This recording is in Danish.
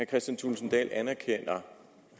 kristian thulesen dahl anerkender